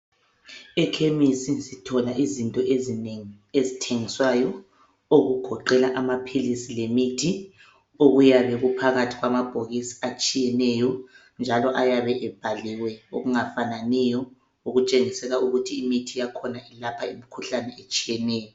Ekhemisi sithola izinto ezinengi ezithengiswayo okugoqela amaphilisi lemithi okuyabe kuphakathi kwamabhokisi atshiyeneyo, njalo ayabe ebhaliwe okungafananiyo okutshengisela ukuthi imithi yakhona ilapha imikhuhlanae etshiyeneyo